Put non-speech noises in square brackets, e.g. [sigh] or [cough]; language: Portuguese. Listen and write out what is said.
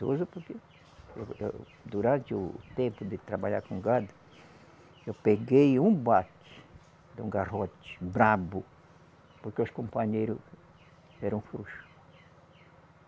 [unintelligible] Durante o tempo de trabalhar com gado, eu peguei um bate de um garrote bravo, porque os companheiros eram frouxos.